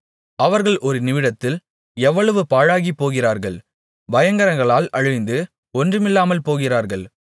அவர்கள் ஒரு நிமிடத்தில் எவ்வளவு பாழாகிப்போகிறார்கள் பயங்கரங்களால் அழிந்து ஒன்றுமில்லாமல் போகிறார்கள்